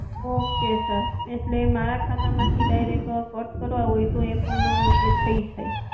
okay sir એટલે મારા ખાતા માંથી direct cut કરવા હોય તો એ પણ એ થઇ જાય